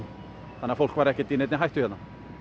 þannig að fólk var ekki í neinni hættu hérna